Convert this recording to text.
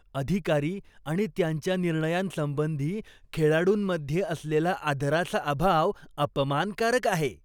अधिकारी आणि त्यांच्या निर्णयांसंबंधी खेळाडूंमध्ये असलेला आदराचा अभाव अपमानकारक आहे.